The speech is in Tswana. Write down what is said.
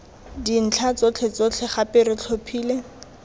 dintlha tsotlhetsotlhe gape re tlhophile